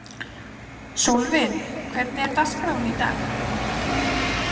Sólvin, hvernig er dagskráin í dag?